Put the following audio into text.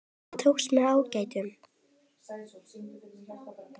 Það tókst með ágætum.